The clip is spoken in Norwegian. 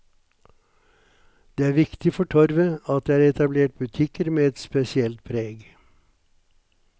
Det er viktig for torvet at det er etablert butikker med et spesielt preg.